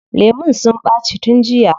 Lemun sun ɓaci tun jiya.